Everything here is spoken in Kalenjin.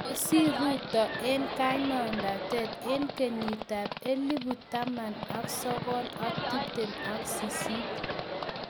kosiir ruto eng kandoitet eng kenyit ab elipu taman sogol ak tiptem ak sisit